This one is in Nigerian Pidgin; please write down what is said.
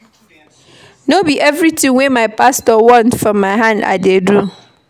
No be everytin wey my pastor want from my hand I dey do.